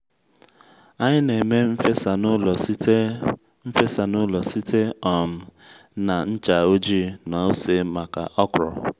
anyị na-eme n’fesa n'ụlọ site n’fesa n'ụlọ site um na ncha ojii na ose maka okro